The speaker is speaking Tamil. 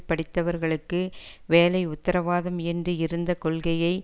படித்தவர்களுக்கு வேலை உத்தரவாதம் என்று இருந்த கொள்கையை